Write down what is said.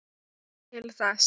Til þessa.